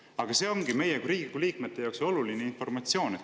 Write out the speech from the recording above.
Aga see ongi meie kui Riigikogu liikmete jaoks oluline informatsioon.